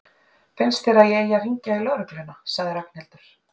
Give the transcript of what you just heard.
Finnst þér að ég eigi að hringja á lögregluna? sagði Ragnhildur.